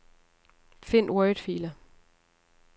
Find wordfiler.